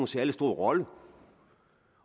særlig stor rolle